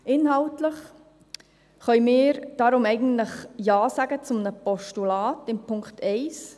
Inhaltlich können wir deshalb eigentlich Ja sagen zu einem Postulat in Punkt 1.